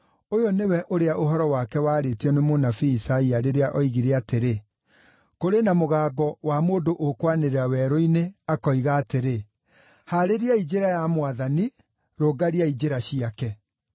Ũyũ nĩwe ũrĩa ũhoro wake waarĩtio nĩ mũnabii Isaia rĩrĩa oigire atĩrĩ: “Kũrĩ na mũgambo wa mũndũ ũkwanĩrĩra werũ-inĩ, akoiga atĩrĩ: ‘Haarĩriai njĩra ya Mwathani, rũngariai njĩra ciake.’ ”